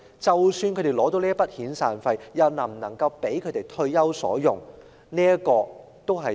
即使他們能獲取一筆遣散費，又是否足夠他們退休所用？